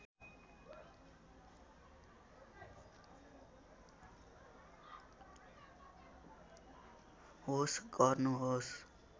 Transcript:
होस् गर्नुहोस्